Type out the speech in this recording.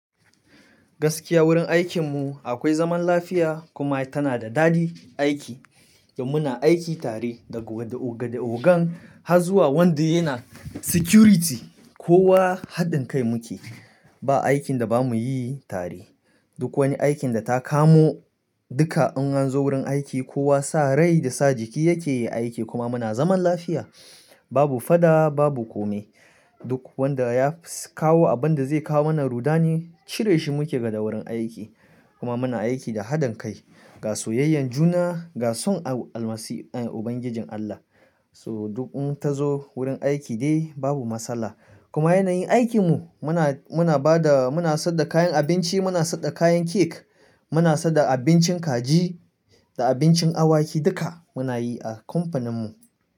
Gaskiya wurin aikinmu akwai zaman lafiya kuma tana da dadi aiki. Muna aiki tare daga ga ogan har zuwa wanda yana security. Kowa haɗin kai muke, ba aikin da ba mu yi tare. Duk wani aikin da ta kamo dukka in anzo wurin aiki, kowa sa rai da sa jiki yake yai aiki kuma muna zaman lafiya. Babu fada, babu kome. Duk wanda ya kawo abin da zai kawo mana ruɗani cire shi muke daga wurin aiki. Kuma muna aiki da haɗin kai ga soyayyan juna, ga son Ubangijin Allah. So duk in ta zo wurin aiki dai babu matsala. Kuma yanayin aikinmu muna, muna ba da, muna sadar da kayan abinci, muna sadar da kayan cake, muna sadar da abincin kaji da abincin awaki duka muna yi a kamfaninmu.